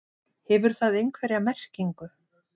Hefur það einhverja merkingu?